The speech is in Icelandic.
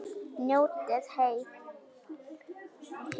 Njótið heil!